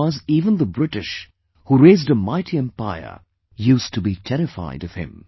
Because even the British who raised a mighty empire used to be terrified of him